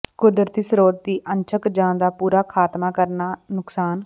ਕੁਦਰਤੀ ਸਰੋਤ ਦੀ ਅੰਸ਼ਕ ਜ ਦਾ ਪੂਰਾ ਖਾਤਮਾ ਕਾਰਨ ਨੁਕਸਾਨ